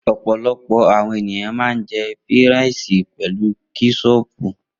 Opolopo àwọn ènìyàn ma ń jẹ́ fíràìsì pelu kẹ́sọpù.